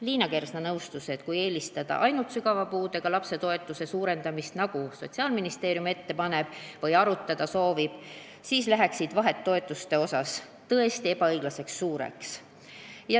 Liina Kersna nõustus, et kui eelistada ainult sügava puudega lapse toetuse suurendamist, nagu Sotsiaalministeerium ette paneb või arutada soovib, siis läheksid toetuste vahed tõesti ebaõiglaselt suureks.